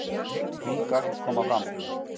Ný gögn koma fram